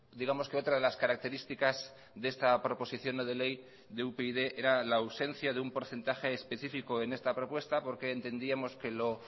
digamos que otra de las características de esta proposición no de ley de upyd era la ausencia de un porcentaje específico en esta propuesta porque entendíamos que lo